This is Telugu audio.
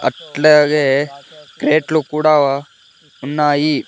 అట్లాగే క్రేట్లు కూడా ఉన్నాయి.